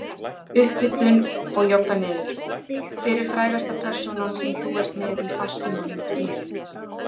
Upphitun og jogga niður Hver er frægasta persónan sem þú ert með í farsímanum þínum?